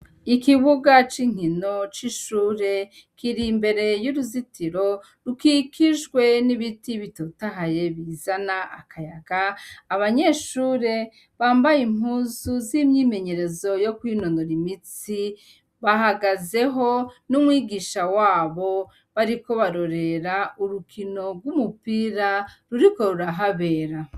Ikibuga c' inkino c' ishure Kiri imbere y' uruzitiro ,rukikijwe n' ibiti bitotahaye bizana akayaga, abanyeshure bambaye impuzu z'imyimenyerezo yo kwinonora imitsi , bahagazeho n' umwigisha wabo ,bariko barorera urukino rw' umupira ruriko rurahabera .